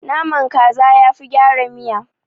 Naman kaza yafi gyara miya.